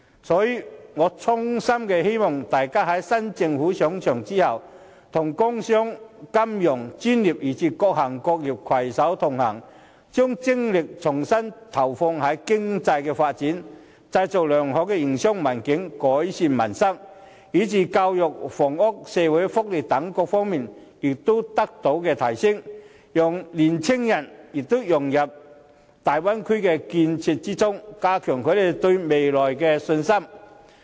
所以，我衷心希望大家在新政府上場後，與工商、金融專業，以至各行各業攜手同行，把精力重新投放在經濟發展，製造良好營商環境，改善民生上，使教育、房屋及社會福利等各方面得到提升，讓青年人融入粵港澳大灣區的建設中，加強他們對未來的信心。